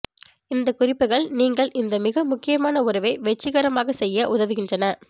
இந்த குறிப்புகள் நீங்கள் இந்த மிக முக்கியமான உறவை வெற்றிகரமாக செய்ய உதவுகின்றன